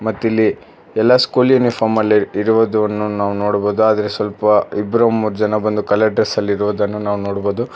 ಮತ್ತಿಲ್ಲಿ ಎಲ್ಲಾ ಸ್ಕೂಲ್ ಯೂನಿಫಾರ್ಮ್ದಲ್ಲಿ ಇರುವುದನ್ನು ನಾವು ನೋಡ್ಬೋದು ಆದರೆ ಸ್ವಲ್ಪ ಇಬ್ಬರು ಮೂರ್ ಜನ ಬಂದು ಕಲರ್ ಡ್ರೆಸ್ ಅಲ್ಲಿ ಇರುವುದನ್ನು ನಾವು ನೋಡ್ಬೋದು